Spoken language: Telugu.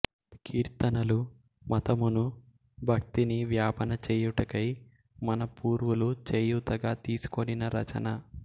కీర్తనలు మతమును భక్తిని వ్యాపన చేయుటకై మన పూర్వులు చేయూతగా తీసికొనిన రచన